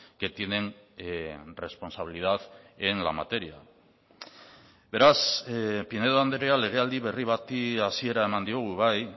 que tienen responsabilidad en la materia beraz pinedo andrea legealdi berri bati hasiera eman diogu bai